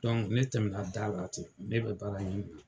ne tɛmɛna da la ten ne bɛ baara ɲini na.